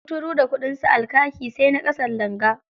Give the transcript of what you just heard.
Kuturu da kuɗinsa, al-kaki sai na ƙasan langa.